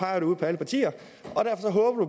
han ud på alle partier